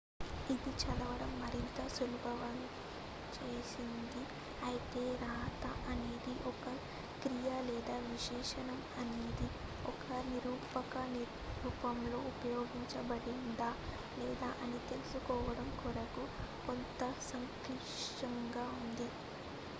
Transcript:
ఇది చదవడం మరింత సులభతరం చేస్తుంది అయితే రాతఅనేది ఒక క్రియ లేదా విశేషణం అనేది ఒక నిరూపక రూపంలో ఉపయోగించబడిందా లేదా అని తెలుసుకోవడం కొరకు కొంతసంక్లిష్టంగా ఉంటుంది